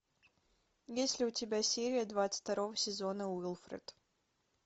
есть ли у тебя серия двадцать второго сезона уилфред